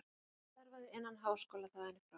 Hann starfaði innan háskóla þaðan í frá.